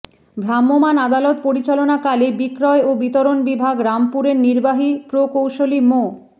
ভ্রাম্যমান আদালত পরিচালনাকালে বিক্রয় ও বিতরণ বিভাগ রামপুরের নির্বাহী প্রকৌশলী মো